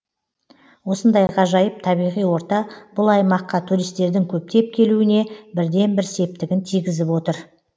осындай ғажайып табиғи орта бұл аймаққа туристердің көптеп келуіне бірден бір септігін тигізіп отыр